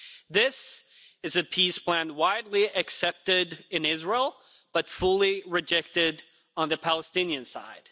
This is a peace plan widely accepted in Israel, but fully rejected on the Palestinian side.